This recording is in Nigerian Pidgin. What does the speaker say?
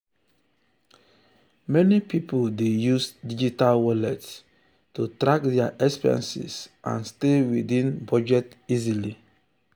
meni pipul dey use digital wallets to track dia expenses and stay within budget easily.